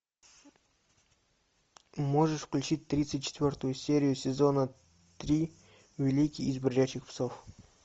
можешь включить тридцать четвертую серию сезона три великий из бродячих псов